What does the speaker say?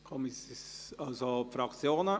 Wir kommen zu den Fraktionen;